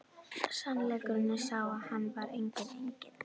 Sannleikurinn var sá að hann var enginn engill!